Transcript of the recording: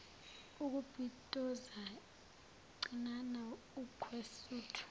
ukubitoza cinana wukwesutha